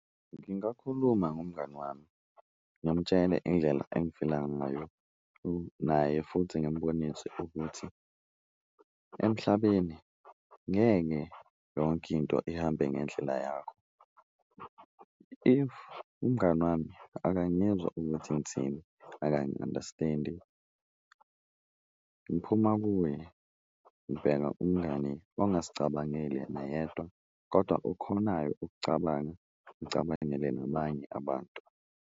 Ngingakhuluma ngomngani wami ngimtshele indlela engifila ngayo naye futhi ngimbonise ukuthi emhlabeni ngeke yonke into ihambe ngendlela yakho, if umngani wami akangizwa ukuthi ngithini akangi-understand-i ngiphuma kuye. Ngibheka umngani ongazicabangeli yena yedwa kodwa okhonayo ukucabanga, acabangele nabanye abantu.